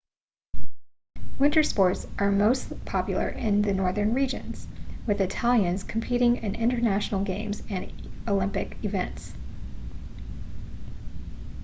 winter sports are most popular in the northern regions with italians competing in international games and olympic events